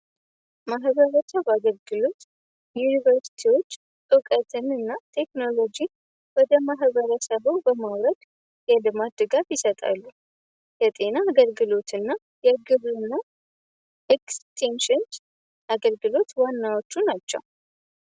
ማሕበበቻበአገልግሎት ዩኒቨርስቲዎች ዕውቀትን እና ቴክኖሎጂ ወደ ማሕበረሰበው በማውረድ የልማድጋት ይሰጣሉ የጤና አገልግሎት እና የግዙ እና ኤክስቲንሽን አገልግሎት ዋናዎቹ ናቸው